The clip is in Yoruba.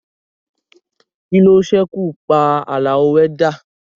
Kí ló ṣekú pa Àlàó wẹ́dà?